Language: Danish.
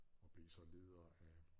Og blev så leder af